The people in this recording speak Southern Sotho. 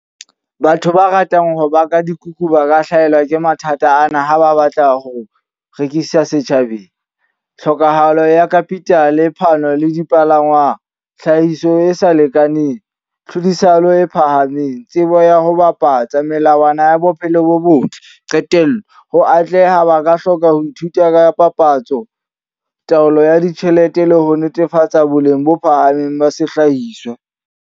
Batho ba ratang ho baka dikuku ba ka hlahelwa ke mathata ana ha ba batla ho rekisa setjhabeng. Tlhokahalo ya capital, phano le dipalangwa, tlhahiso e sa lekaneng, tlhodisano e phahameng, tsebo ya ho bapatsa, melawana ya bophelo bo botle. Qetello, ho atleha ba ka hloka ho ithuta ka papatso, taolo ya ditjhelete le ho netefatsa boleng bo phahameng ba sehlahiswa.